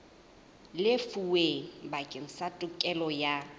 lefuweng bakeng sa tokelo ya